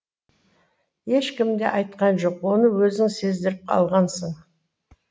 ешкім де айтқан жоқ оны өзің сездіріп алғансың